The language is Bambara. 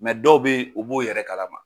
dɔw bɛ ye o b'o yɛrɛ kalama.